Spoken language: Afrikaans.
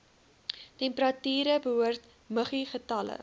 temperature behoort muggiegetalle